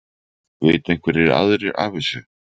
Vita einhverjir aðrir af þessu?